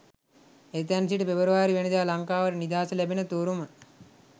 එතැන් සිට පෙබරවාරි වැනිදා ලංකාවට නිදහස ලැබෙන තුරුම